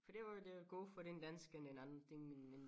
For det var jo det gode for den danskerne en anden ting end end